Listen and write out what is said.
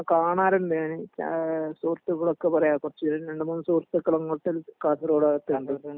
ആ കാണാറുണ്ട് ഞാന് ഏ സുഹൃത്തുക്കളൊക്കെ പറയ കൊറച്ചു രണ്ടു മൂന്ന് സുഹൃത്തുക്കള് അങ്ങോട്ട് കാസർകോട് ആ ഭാഗത്ത് ഉണ്ട്